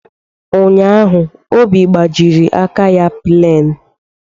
Ụnyaahụ, Obi gbajiri aka ya plain.